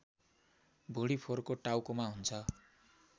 भुँडीफोरको टाउकोमा हुन्छ